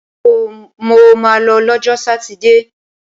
Mo ma lọ lọ́jọ́ sátidé!